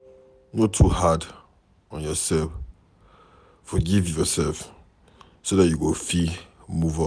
No too dey hard on yourself, forgive yourself so dat you go fit move on